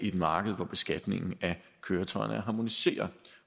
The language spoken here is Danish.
et marked hvor beskatningen af køretøjerne er harmoniseret